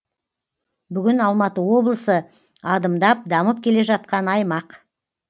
бүгін алматы облысы адымдап дамып келе жатқан аймақ